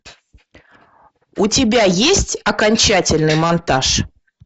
у тебя есть окончательный монтаж